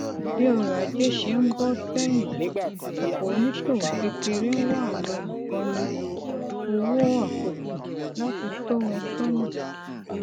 bí ọrọ ajé ṣe ń bọ sẹyìn ọpọ oníṣòwò kékeré ń wá àwọn olùkọni owó àkókò láti tọ wọn sọnà